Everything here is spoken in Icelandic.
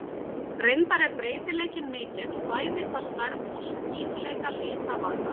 Reyndar er breytileikinn mikill, bæði hvað stærð og skýrleika lita varðar.